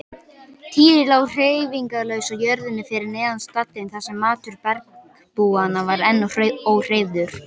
Týri lá hreyfingarlaus á jörðinni fyrir neðan stallinn þar sem matur bergbúanna var enn óhreyfður.